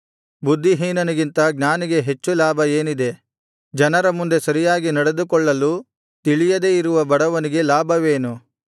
ಬುದ್ಧಿಹೀನನಿಗಿಂತ ಜ್ಞಾನಿಗೆ ಹೆಚ್ಚು ಲಾಭ ಏನಿದೆ ಜನರ ಮುಂದೆ ಸರಿಯಾಗಿ ನಡೆದುಕೊಳ್ಳಲು ತಿಳಿಯದೇ ಇರುವ ಬಡವನಿಗೆ ಲಾಭವೇನು